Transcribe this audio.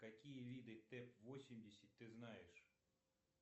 какие виды тэп восемьдесят ты знаешь